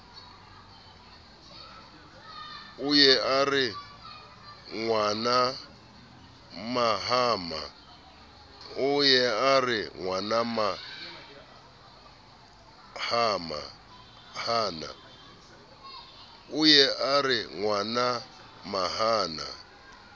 o ye a re ngwanamahana